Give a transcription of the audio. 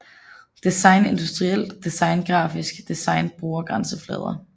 Design Industrielt design Grafisk design Brugergrænseflader